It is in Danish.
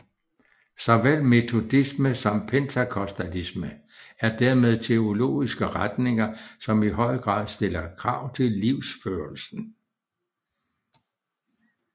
Såvel metodisme som pentekostalisme er dermed teologiske retninger som i høj grad stiller krav til livsførelsen